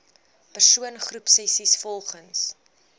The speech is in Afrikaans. persoon groepsessies volgens